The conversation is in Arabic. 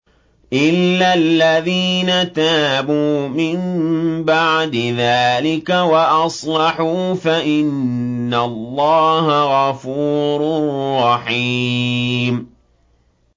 إِلَّا الَّذِينَ تَابُوا مِن بَعْدِ ذَٰلِكَ وَأَصْلَحُوا فَإِنَّ اللَّهَ غَفُورٌ رَّحِيمٌ